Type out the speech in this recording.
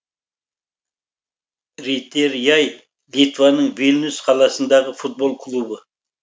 ритеряй литваның вильнюс қаласындағы футбол клубы